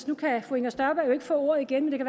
nu kan fru inger støjberg jo ikke få ordet igen